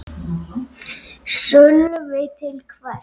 Sölvi: Til hvers?